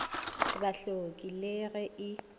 ba hloke le ge e